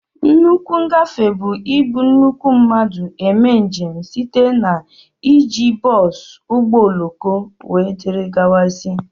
Nnukwu ngafe bu ị bu nnukwu mmadụ eme njem site na iji bosú, ụgbọ ọloko wdg.